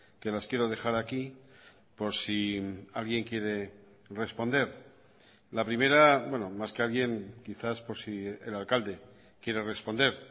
que las quiero dejar aquí por si alguien quiere responder la primera más que alguien quizás por si el alcalde quiere responder